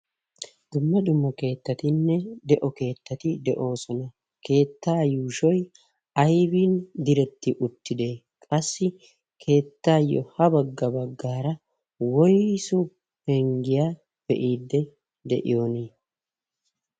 dumma dumma kettatinne de'o keettati de"oosona. keettaa yuushshoy aybbi diiretti uttidee? qassi keettayoo ha bagga baggaara woysu penggiyaa be'idi de'iyoonii?